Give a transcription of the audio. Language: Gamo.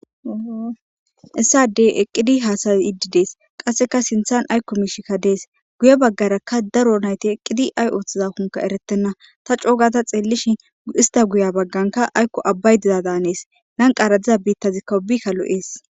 Issadey eqqidi haasayi iddidees qasseka sinthan aykko miishikka dees guye baggarakka daro nayti eqqidi ay ooththiza kunka eretenna ta coogata xeellishi ista guya bagganka aykko abbay diza daanees lanqara diza biittazi kawubikka lo'ees.